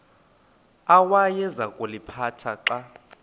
awayeza kuliphatha xa